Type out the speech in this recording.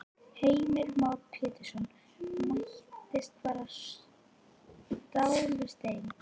Heimir Már Pétursson: Mættist bara stál við stein?